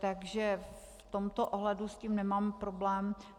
Takže v tomto ohledu s tím nemám problém.